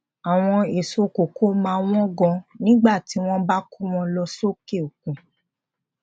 àwọn èso koko máa wón gan nígbà tí wón bá kó wọn lọ sókè òkun